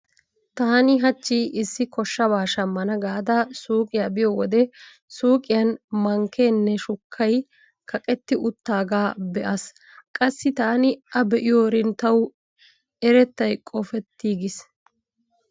Taani hachchi issi koshshabaa shammana gaada suuqiya biyo wode suuqiyan mankkeenne shuukkay kaqetti uttaagaa be'aas. Qassi taani a be'yoorin tawu erettay qofettiiggiis.